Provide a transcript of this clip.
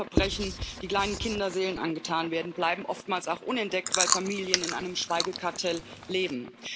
Viele Verbrechen, die kleinen Kinderseelen angetan werden, bleiben oftmals auch unentdeckt, weil Familien in einem Schweigekartell leben.